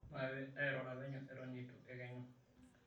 Maape airura penyo eton eitu ekenyu.